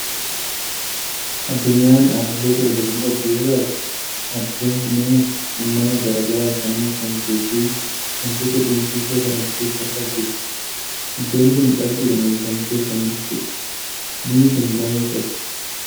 Addunyaan ardiilee torba kan qabdu yoo taatu, ardiileen kunniinis uumama garaa garaan kan uwwifamtee fi waantota dinqisiisoo kan ofirraa qabdudha! Iddoon kun cabbiidhaan uwwifamtee kan jirtudha. Biyyi kun baay'ee qorra!